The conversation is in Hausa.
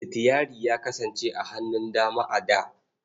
Sitiyari ya kasance a hannun dama a da.